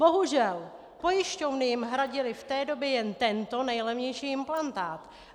Bohužel, pojišťovny jim hradily v té době jen tento nejlevnější implantát.